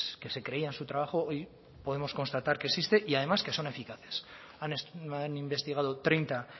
que se creían su trabajo hoy podemos constatar que existe y además que son eficaces han investigado treinta